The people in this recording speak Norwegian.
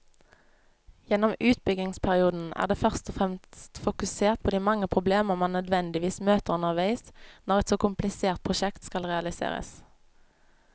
Gjennom utbyggingsperioden er det først og fremst fokusert på de mange problemer man nødvendigvis møter underveis når et så komplisert prosjekt skal realiseres.